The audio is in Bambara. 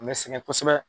N bɛ sɛgɛn kosɛbɛ